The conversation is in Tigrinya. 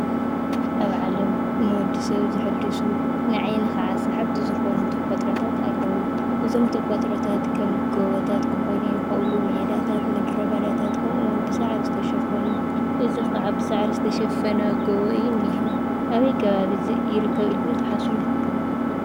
ኣብ ዓለም ንወዲ ሰብ ዘሓድሱ ንዓይኒ ከዓ ሰሓብቲ ዝኾኑ ተፈጥሮታት ኣለዉ፡፡ እዞም ተፈጥሮታት ከም ጎቦታት ክኾኑ ይኽእሉ፤ ሜዳታት፣ ምድረ በዳታት ከምኡ ከዓ ብሳዕሪ ዝተሸፈኑ፡፡ እዚ ከዓ ብሳዕሪ ዝተሸፈነ ጎቦ እዩ እኒሀ፡፡ ኣበይ ከባቢ እዚ ይርከብ ኢልኩም ትሓስቡ?